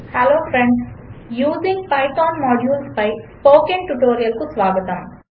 hello friends using Python modules పై spoken ట్యుటోరియల్కు స్వాగతం